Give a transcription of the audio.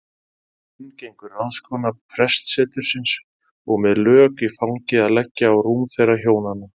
Inn gengur ráðskona prestsetursins og með lök í fangi að leggja á rúm þeirra hjónanna.